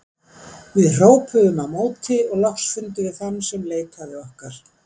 Við hrópuðum á móti og loks fundum við þann sem leitaði okkar.